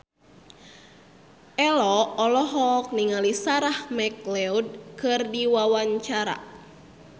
Ello olohok ningali Sarah McLeod keur diwawancara